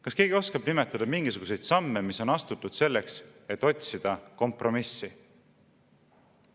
Kas keegi oskab nimetada mingisuguseid samme, mis on astutud selleks, et otsida kompromissi?